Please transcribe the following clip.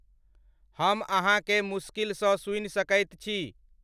हम अहाँकेँ मुस्किल सऽ सुनि सकैत छी।